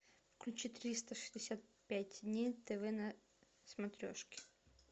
включи триста шестьдесят пять дней тв на смотрешке